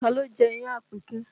Taa ló jẹ́ iyán an Àpèkẹ́?